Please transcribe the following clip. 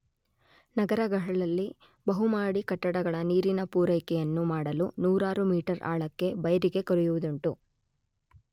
ನಗರಗಳಲ್ಲಿ ಬಹುಮಹಡಿ ಕಟ್ಟಡಗಳ ನೀರಿನ ಪೂರೈಕೆಯನ್ನು ಮಾಡಲು ನೂರಾರು ಮೀಟರ್ ಆಳಕ್ಕೆ ಬೈರಿಗೆ ಕೊರೆಯುವುದುಂಟು.